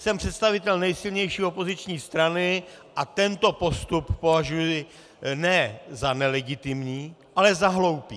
Jsem představitel nejsilnější opoziční strany a tento postup považuji ne za nelegitimní, ale za hloupý.